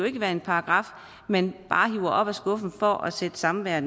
ikke være en paragraf man bare hiver op af skuffen for at sætte samværet